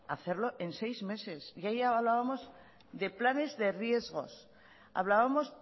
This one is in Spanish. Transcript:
hacerlo en seis meses y ahí hablábamos de planes de riesgos hablábamos